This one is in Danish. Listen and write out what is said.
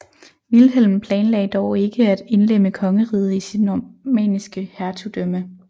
Vilhelm planlagde dog ikke at indlemme kongeriget i sit normanniske hertugdømme